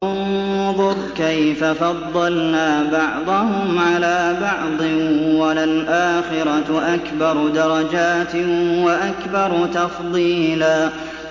انظُرْ كَيْفَ فَضَّلْنَا بَعْضَهُمْ عَلَىٰ بَعْضٍ ۚ وَلَلْآخِرَةُ أَكْبَرُ دَرَجَاتٍ وَأَكْبَرُ تَفْضِيلًا